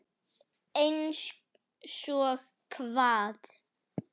Einsog hvað?